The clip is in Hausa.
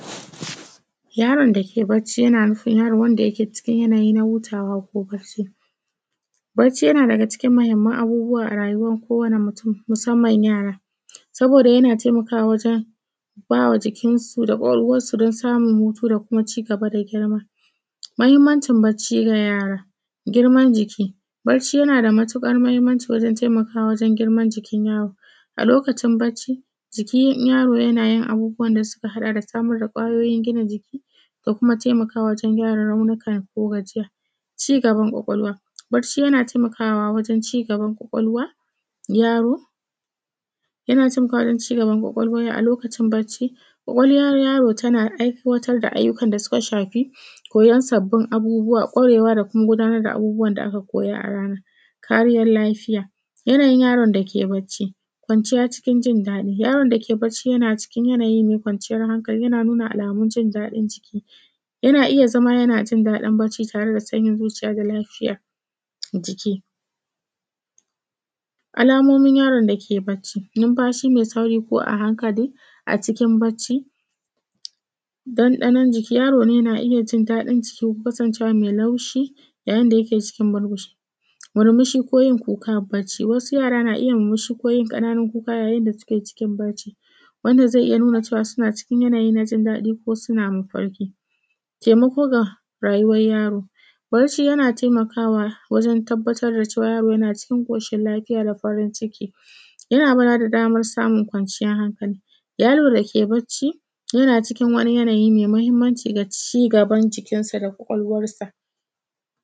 Yaron da ke barci yana nufin yaro wanda yake cikin yanayi na hutawa ko barci. Barci yana daga cikin muhimman abubuwa a rayuwan kowane mutum, musamman yara. Saboda yana taimakawa wajen bawa jikinsu da kwakwalwarsu don samun hutu da kuma cigaba da girma. Muhimmacin barci ga yara, girman jiki, barci yana da matuƙar muhimmanci wajen taimakawa wajen girman jikin yaro. A lokacin barci, jikin yaro yana yin abubuwan da suka haɗa da samar da kwayoyin gina jiki, da kuma taimakawa wajen gyara raunuka ko gajiya. Cigaban kwakwalwa, barci yana taimakawa wajen cigaban kwakwalwa yaro. Yana cin cigaban kwakwalwa ne a lokacin barci, kwakwalwar yaro.tana aiwatar da ayyuka da suka shafi, koyan sabbin abubuwa, kwarewa da kuma gudanar da abubuwan da aka koya a ranar. Kariyar lafiya, yanayin yaro da ke barci. Kwanciya cikin jin daɗi, yaron da ke barci yana cikin yanayin mai kwanciyar hankali, yana nuna alamun jin daɗin jiki. Yana iya zama, yana jin daɗin barci tare da sanyin zuciya da lafiyar jiki. Alamomin yaron da ke barci, numfashi mai sauri ko a hakanli a cikin barci. Ɗanɗanon jiki Yaron ne yana iya jin daɗin jiki kasancewar mai laushi, yayayin da yake cikin barci, murmushi ko yin kukar barci wasu yara na iya murmushi ko yin ƙananun kuka ya yin da suke cikin in barci. Wannan zai iya nuna cewa suna cikin yanayi na jin daɗi ko suna mafarki. Taimako ga rayuwar yaro, barci yana taimakawa wajen tabbatar da cewa yaro yana cikin koshin lafiya da farin ciki. Yana ba da damar samun kwanciyan hankali. Yaro da ke barci yana cikin wani yanayi mai mahimmaci ga cigaban jikinsa da kwakwalwarsa